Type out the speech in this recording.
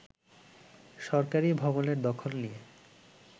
সরকারী ভবনের দখল নিয়ে